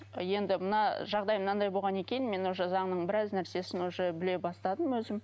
енді мына жағдай мынандай болғаннан кейін мен уже заңның біраз нәрсесін уже біле бастадым өзім